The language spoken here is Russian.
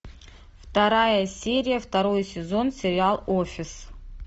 вторая серия второй сезон сериал офис